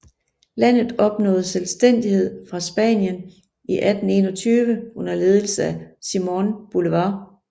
Landet opnåede selvstændighed fra Spanien i 1821 under ledelse af Simón Bolívar